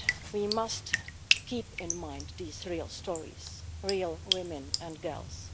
We must keep in mind these real stories of real women and girls.